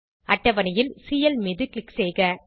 அட்டவணையில் சிஎல் மீது க்ளிக் செய்க